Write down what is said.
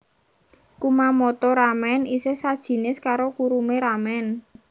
Kumamoto ramen isih sajinis karo kurume ramen